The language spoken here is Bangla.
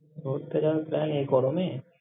ঘুরতে যাওয়ার plan এই গরমে!